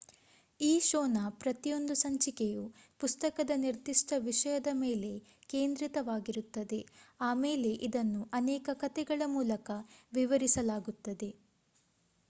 ಈ ಶೋನ ಪ್ರತಿಯೊಂದು ಸಂಚಿಕೆಯು ಪುಸ್ತಕದ ನಿರ್ದಿಷ್ಟ ವಿಷಯದ ಮೇಲೆ ಕೇಂದ್ರಿತವಾಗಿರುತ್ತದೆ ಆಮೇಲೆ ಇದನ್ನು ಅನೇಕ ಕಥೆಗಳ ಮೂಲಕ ವಿವರಿಸಲಾಗುತ್ತದೆ